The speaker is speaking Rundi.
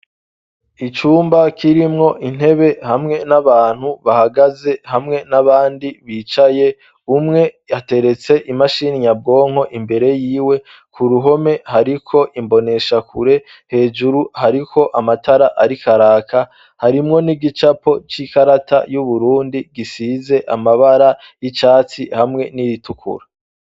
Icumba kirimwo intebe hamwe n'abantu bahagaze hamwe n'abandi bicaye umwe ateretse imashiniyabwonko imbere yiwe ku ruhome hariko imbonesha kure hejuru hariko amatara arikaraka harimwo n'igicapo c'ikarata y'uburundi gise zize amabara y'icatsi hamwe n'iritukura.